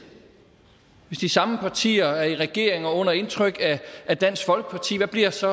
hvis de samme partier er i regering og under indtryk af dansk folkeparti hvad bliver så